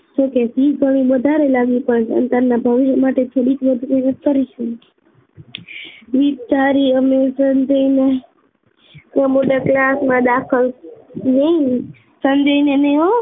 જોકે ફી થોડી વધારે લાગી પણ સંતાનના ભવિષ્ય માટે થોડીક વિચારીએ અમે સંજયને મોટા ક્લાસમાં દાખલ નહિ સંજય ને નહિ હો